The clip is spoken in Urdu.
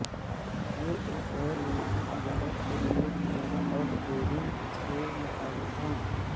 یہ ایک غیر ملکی تجارت کے لئے تجارت اور ٹریڈنگ کے مطابق ہے